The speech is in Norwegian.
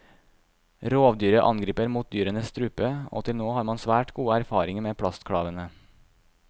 Rovdyret angriper mot dyrenes strupe, og til nå har man svært gode erfaringer med plastklavene.